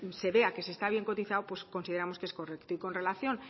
se vea que se está bien cotizado pues consideramos que es correcto y con relación